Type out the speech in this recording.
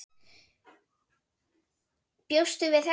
Bjóstu við þessu?